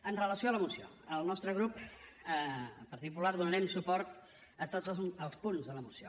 amb relació a la moció el nostre grup el partit popular donarem suport a tots els punts de la moció